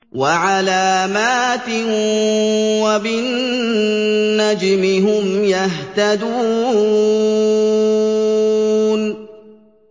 وَعَلَامَاتٍ ۚ وَبِالنَّجْمِ هُمْ يَهْتَدُونَ